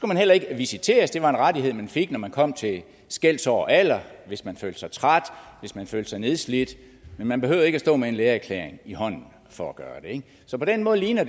man heller ikke visiteres det var en rettighed man fik når man kom til skelsår og alder hvis man følte sig træt hvis man følte sig nedslidt men man behøvede ikke at stå med en lægeerklæring i hånden for at gøre det så på den måde ligner